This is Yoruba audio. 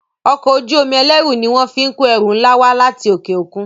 Ọkọ̀ ojú-omi ẹlẹru ní wón fín kọ ẹrù nlá wá láti okeokun.